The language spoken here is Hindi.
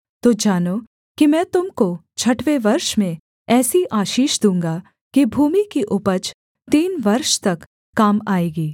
तो जानो कि मैं तुम को छठवें वर्ष में ऐसी आशीष दूँगा कि भूमि की उपज तीन वर्ष तक काम आएगी